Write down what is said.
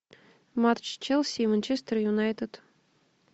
матч челси и манчестер юнайтед